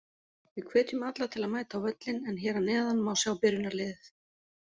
Við hvetjum alla til að mæta á völlinn en hér að neðan má sjá byrjunarliðið.